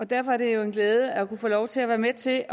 derfor er det jo en glæde at kunne få lov til at være med til at